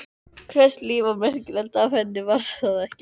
Hvers líf var merkilegt ef hennar var það ekki?